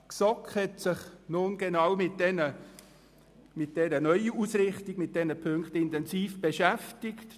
» Die GSoK hat sich nun intensiv mit dieser Neuausrichtung beschäftigt.